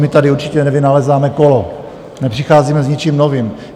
My tady určitě nevynalézáme kolo, nepřicházíme s ničím novým.